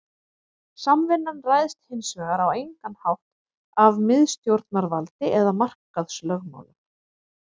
Samvinnan ræðst hins vegar á engan hátt af miðstjórnarvaldi eða markaðslögmálum.